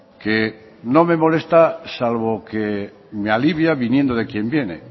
que no me molesta salvo que me alivia viniendo de quien viene